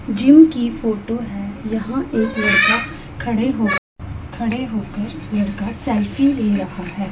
Gym की photo है यहां एक लड़का खड़े होके खड़े होके लड़का सेल्फी ले रहा हैं।